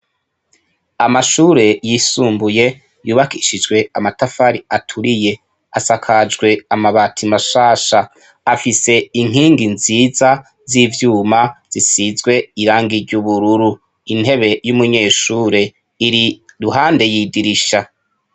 Amashure yisumbuye yubakishijwe amatafari aturiye. Asakajwe amabati mashasha. Afise inkingi nziza z'ivyuma zisize irangi ry'ubururu. Intebe y'umunyeshure iri iruhande y'idirisha.